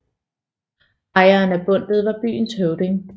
Ejeren af bundtet var byens høvding